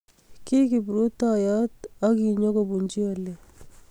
Ki kiprutoyot akinyokobunji oli